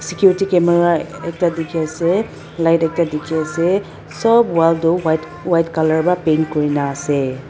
Cuty camera a ekta dekhe ase light ekta dekhe ase sop wall tu white white colour bra paint kure na ase.